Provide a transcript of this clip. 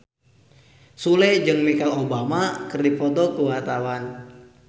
Sule jeung Michelle Obama keur dipoto ku wartawan